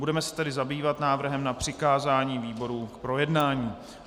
Budeme se tedy zabývat návrhem na přikázání výborům k projednání.